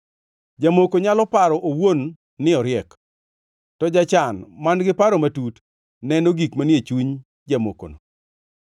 Jamoko nyalo paro owuon ni oriek, to jachan man-gi paro matut neno gik manie chuny jamokono.